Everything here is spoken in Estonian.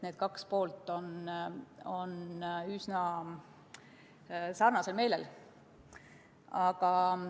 Need kaks poolt on üsna sarnaselt meelestatud.